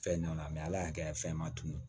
Fɛn ɲanaman ala y'a kɛ fɛn ma tunu